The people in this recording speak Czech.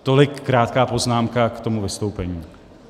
Tolik krátká poznámka k tomu vystoupení.